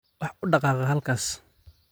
Wax u dhaqaaq halkaas